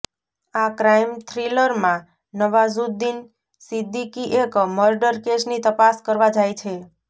આ ક્રાઈમ થ્રિલરમાં નવાઝુદ્દીન સિદ્દીકી એક મર્ડર કેસની તપાસ કરવા જાય છે